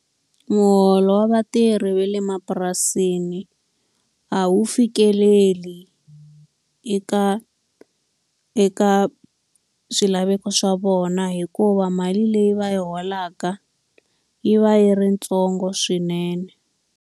Muholo wa vatirhi va le mapurasini a wu fikeleli eka eka swilaveko swa vona hikuva mali leyi va yi holaka yi va yi ri yitsongo swinene.